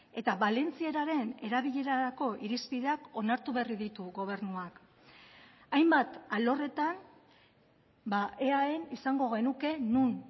eta valentzieraren erabilerarako irizpideak onartu berri ditu gobernuak hainbat alorretan eaen izango genuke non